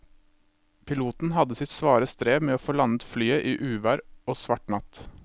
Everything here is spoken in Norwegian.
Piloten hadde sitt svare strev med å få landet flyet i uvær og svart natt.